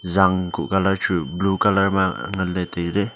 jaan kuh colour chu blue colour ma nganla tailey.